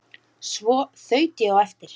Svo þaut ég á eftir